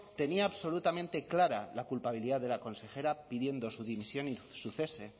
tenía absolutamente clara la culpabilidad de la consejera pidiendo su dimisión y su cese